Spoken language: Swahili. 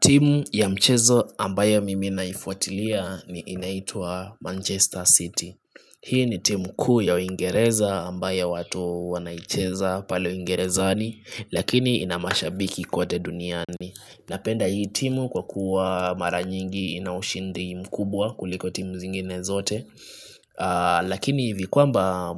Timu ya mchezo ambaye mimi naifuatilia ni inaitua Manchester City Hii ni timu kuu ya uingereza ambaye watu wanaicheza pale uingerezani Lakini inamashabiki kwote duniani Napenda hii timu kwa kuwa mara nyingi inaushindi mkubwa kuliko timu zingine zote Lakini vikuamba